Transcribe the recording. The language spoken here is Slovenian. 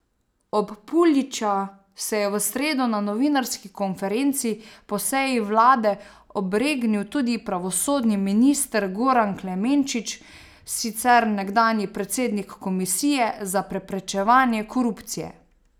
Ob Puljića se je v sredo na novinarski konferenci po seji vlade obregnil tudi pravosodni minister Goran Klemenčič, sicer nekdanji predsednik Komisije za preprečevanje korupcije.